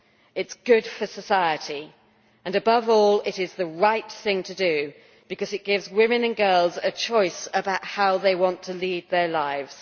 It is good for society and, above all, it is the right thing to do because it gives women and girls a choice about how they want to lead their lives.